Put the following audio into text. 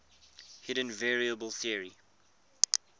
hidden variable theory